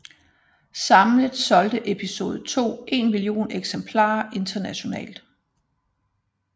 Samlet solgte Episode II en million eksemplarer internationalt